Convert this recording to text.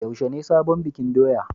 Yaushe ne sabon bikin doya?